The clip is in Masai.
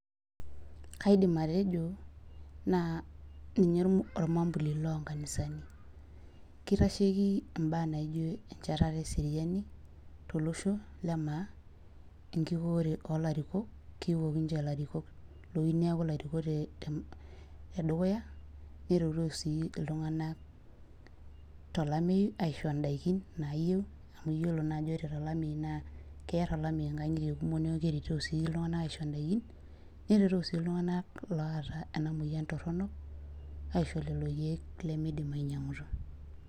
kaidim atejo ninye olmambuli loo inkanisani kitasheki ibaa naijio echatare eseriani tolosho lemaa, enkikoore oo ilarikok, kikok niche ilarikok nitoki neeku ilarikok ledukuya, neretoo sii iltung'anak tolameyu aisho idaikin nayieu amu iyiolo naa tolameyu naa keer ikangitie , nerotoo sii iltunganak oota enamoyian anyiangaki ilkeek limidim anyangutu.